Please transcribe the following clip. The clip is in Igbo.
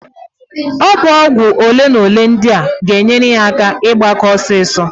Ọ bụ ọgwụ olemole ndịa g'enyere ya aka ịgbake ọsịịsọ.